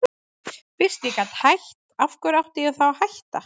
Fyrst ég gat hætt, af hverju átti ég þá að hætta?